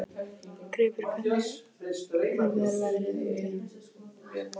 Greipur, hvernig er veðrið úti?